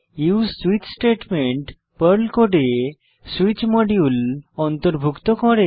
use switch statement Perl কোডে switch module অন্তর্ভুক্ত করে